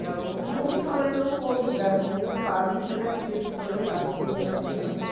não ouvi falar em nenhum outro lugar no mundo de um padre que fizesse isso, projetasse filme para as crianças.